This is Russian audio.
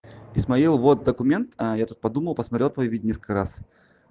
исмаил вот документ а я тут подумал посмотрел твоё видео несколько раз